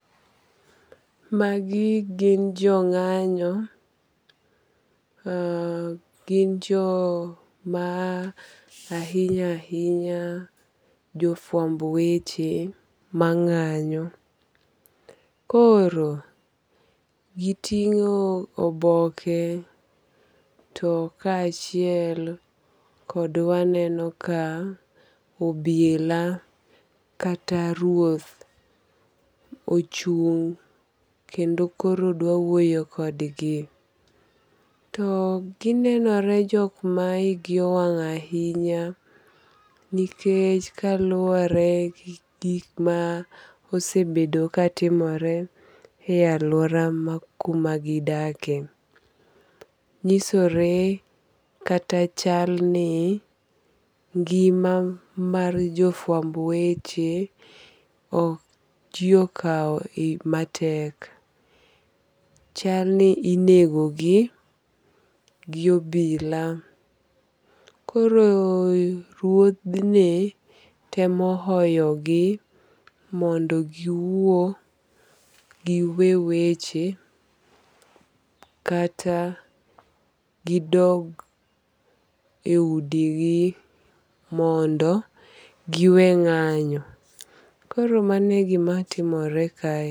Magi gin jo ng'anyo, gin jo ma ahinya ahinya gin jo fwamb weche mang'anyo, koro gitingo' oboke to kachiel kod waneno ka obila kata ruoth ochung' kendo koro dwa wuoyo kodgi, to ginenore jok ma higi owang' ahinya nikech kaluore gi gik ma osebedo ka timore e aluora ma kuma gidakie. Nyisore kata chalni ng'ima mar jo fuamb weche ok ji okawo matek, chalni inegogi gi obila, koro ruodhni temo hoyogi mondo giwuo giwe weche kata gidog e udigi mondo giwe ng'anyo, koro mano e gimatimore kae.